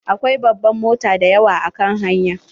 Akwai babban mota dayawa a kan hanya.